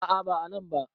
A`a ba a nan ba